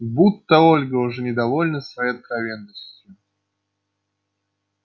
будто ольга уже недовольна своей откровенностью